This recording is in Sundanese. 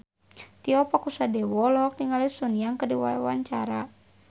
Tio Pakusadewo olohok ningali Sun Yang keur diwawancara